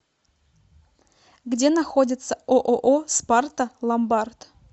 где находится ооо спарта ломбард